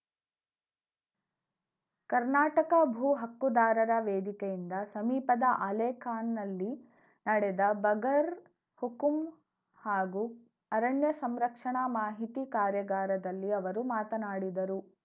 ಕರ್ನಾಟಕ ಭೂ ಹಕ್ಕುದಾರರ ವೇದಿಕೆಯಿಂದ ಸಮೀಪದ ಆಲೇಕಾನ್‌ನಲ್ಲಿ ನಡೆದ ಬಗರ್‌ ಹುಕುಂ ಹಾಗೂ ಅರಣ್ಯ ಸಂರಕ್ಷಣಾ ಮಾಹಿತಿ ಕಾರ್ಯಾಗಾರದಲ್ಲಿ ಅವರು ಮಾತನಾಡಿದರು